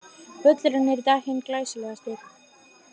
Völlurinn er í dag hinn glæsilegasti.